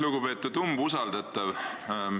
Lugupeetud umbusaldatav!